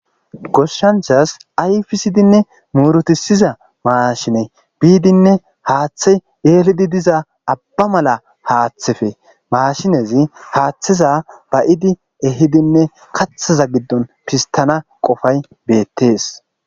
Goshanchas ayffidinne murutissizza mashinne izzas abba mela haatheppe mashinerra ehiddi kathazza giddon fisttana qoffay bettes.